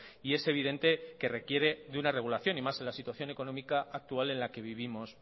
y es evidente que requiere de una regulación y más en la situación económica actual en la que vivimos